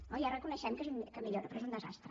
oh ja reconeixem que millora però és un desastre